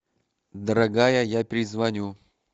дорогая я перезвоню